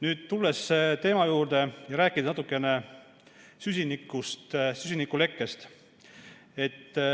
Nüüd tulen teema juurde ja räägin natukene süsinikust ja süsinikulekkest.